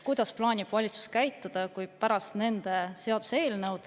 Kuidas plaanib valitsus käituda, kui pärast nende seaduseelnõu …